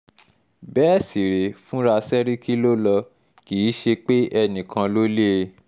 bẹ́ẹ̀ sì rèé fúnra sẹ́ríkì ló lọ kì í ṣe pé enìkan ló lé e